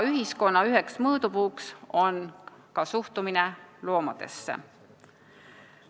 Ühiskonna üheks mõõdupuuks on ka suhtumine loomadesse.